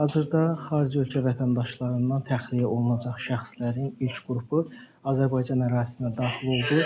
Hazırda xarici ölkə vətəndaşlarından təxliyə olunacaq şəxslərin ilk qrupu Azərbaycan ərazisinə daxil oldu.